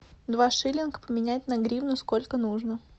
два шиллинга поменять на гривны сколько нужно